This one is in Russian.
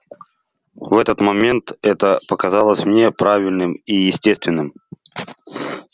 в тот момент это показалось мне правильным и естественным